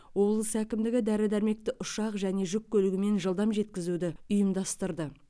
облыс әкімдігі дәрі дәрмекті ұшақ және жүк көлігімен жылдам жеткізуді ұйымдастырды